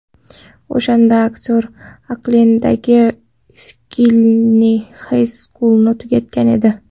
O‘shanda aktyor Oklenddagi Skyline High School’ni tugatgan edi.